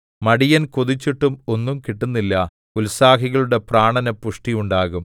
മടിയൻ കൊതിച്ചിട്ടും ഒന്നും കിട്ടുന്നില്ല ഉത്സാഹികളുടെ പ്രാണന് പുഷ്ടിയുണ്ടാകും